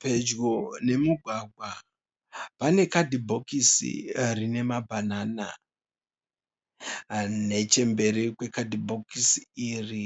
Pedyo nemugwagwa pane kadhibhokisi rine mabanana, nechemberi kwekadhibhokisi iri